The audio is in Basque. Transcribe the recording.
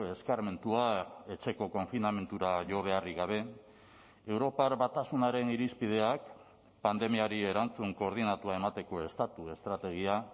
eskarmentua etxeko konfinamendura jo beharrik gabe europar batasunaren irizpideak pandemiari erantzun koordinatua emateko estatu estrategia